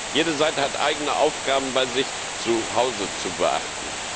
Jede Seite hat eigene Aufgaben bei sich zu Hause zu beachten.